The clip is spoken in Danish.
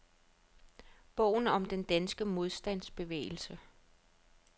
Bogen om den danske modstandsbevægelse.